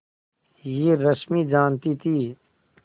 यह रश्मि जानती थी